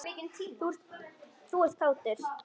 Og þú ert kátur.